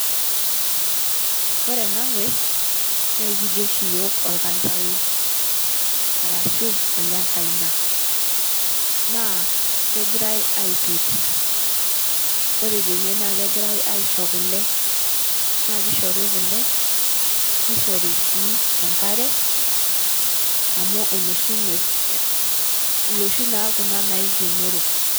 Ore ena nkuees naa kijoo sii yook elnkaachaoi arashu olekaina naa kegirai aitotii. Ore tenee naa kegirai ashoo kulee, naa keishorii kulee neishorii sii enkaare amu enoshii nkuees. Nooshii naa kuna naikenoroo.